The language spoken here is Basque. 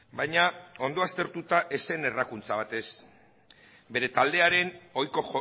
baina ondo aztertuta ez zen errakuntza bat bere taldearen ohiko